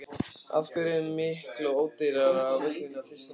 Af hverju er miklu ódýrara á völlinn í Þýskalandi?